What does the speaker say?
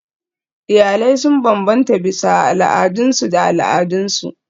Iyalai sun bambanta bisa al'adunsu da al'adunsu.